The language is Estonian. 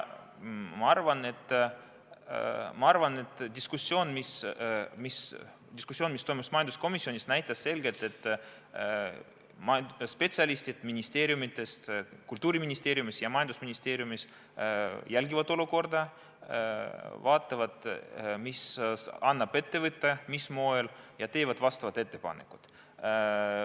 Ma arvan, et diskussioon, mis toimus majanduskomisjonis, näitas selgelt, et spetsialistid Kultuuriministeeriumis ja majandusministeeriumis jälgivad olukorda, vaatavad, mida annab ette võtta ning mis moel, ja teevad vastavad ettepanekud.